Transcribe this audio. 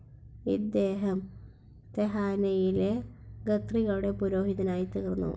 ഇദ്ദേഹം തെഹാനയിലെ ഖത്രികളുടെ പുരോഹിതനായിത്തീർന്നു.